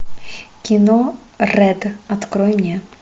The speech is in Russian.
кино рэд открой мне